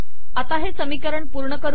आता हे समीकरण पूर्ण करू